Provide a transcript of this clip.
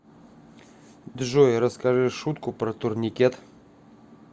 джой расскажи шутку про турникет